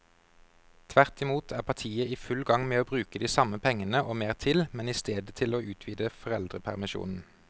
Tvert imot er partiet i full gang med å bruke de samme pengene og mer til, men i stedet til å utvide foreldrepermisjonen.